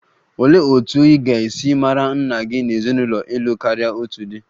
Olee otú ị ga-esi mara nna gị n'ezinụlọ ịlụ karia otu di?